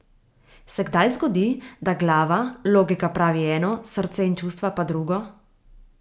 Se kdaj zgodi, da glava, logika pravi eno, srce in čustva pa drugo?